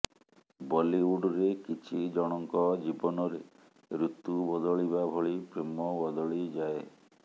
ବଲିଉଡରେ କିଛି ଜଣଙ୍କ ଜୀବନରେ ଋତୁ ବଦଳିବା ଭଳି ପ୍ରେମ ବଦଳିଯାଏ